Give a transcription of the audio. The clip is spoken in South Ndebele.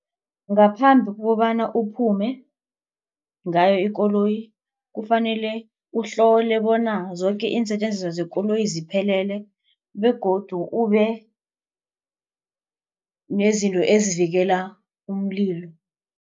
Ngaphambi kokobana uphume ngayo ikoloyi. Kufanele uhlole bona zoke iinsetjenziswa zekoloyi ziphelele begodu ube nezinto ezivikela umlilo.